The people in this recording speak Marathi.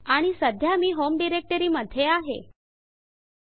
आणि सध्या मी होम डायरेक्टरी होम डाइरेक्टरी मध्ये आहे